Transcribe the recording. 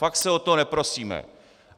Fakt se o to neprosíme.